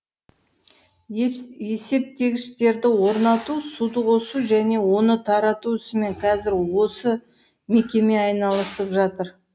есептегіштерді орнату суды қосу және оны тарату ісімен қазір осы мекеме айналысып жатыр